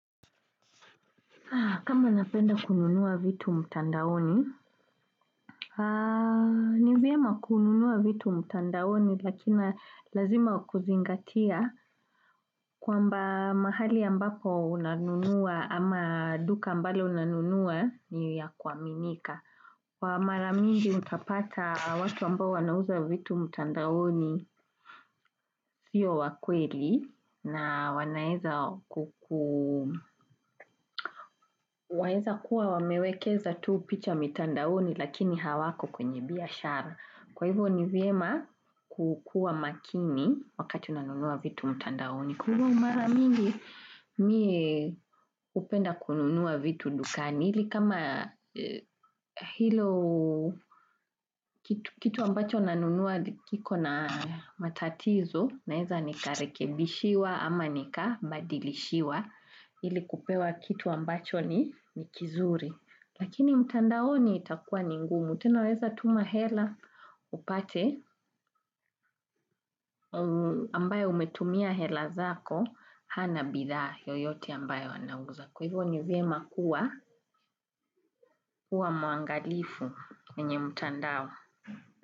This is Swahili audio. Kama napenda kununua vitu mtandaoni, ni vyema kununua vitu mtandaoni lakini lazima kuzingatia kwamba mahali ambapo unanunua ama duka ambalo unanunua ni ya kuaminika. Kwa mara mingi utapata watu ambao wanauza vitu mtandaoni siyo wa kweli na wanaweza Waeza kuwa wamewekeza tu picha mitandaoni lakini hawako kwenye biashara. Kwa hivyo ni vyema kukuwa makini wakati unanunua vitu mtandaoni. Kwa mara mingi mie hupenda kununua vitu dukani. Ili kama hilo kitu ambacho nanunua kiko na matatizo. Naweza nikarekebishiwa ama nikabadilishiwa. Ili kupewa kitu ambacho ni kizuri. Lakini mtandaoni itakuwa ni ngumu. Tena waeza tuma hela upate ambayo umetumia hela zako hana bidhaa yoyote ambayo anauza. Kwa hivyo ni vyema kuwa mwangalifu kwenye mtandao.